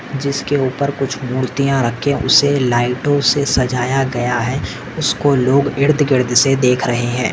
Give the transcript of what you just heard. जिस के उपर कुछ मूर्तिया रखे उसे लाइटो से सजाया गया है उसको लोग इर्द गिर्द देख रहे है।